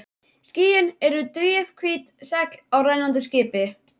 Skýin eru drifhvít segl á rennandi skipi.